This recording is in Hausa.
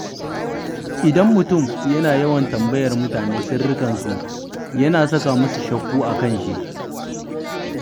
Idan mutum yana yawan tambayar mutane sirrikansu, yana saka musu shakku a kan shi.